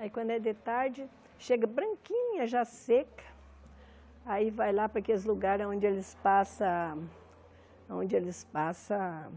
Aí quando é de tarde, chega branquinha, já seca, aí vai lá para aqueles lugares onde eles passam... onde eles passam...